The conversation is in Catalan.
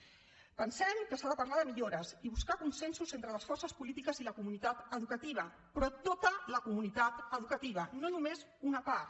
pensem que s’ha de parlar de millores i buscar consensos entre les forces polítiques i la comunitat educativa però tota la comunitat educativa no només una part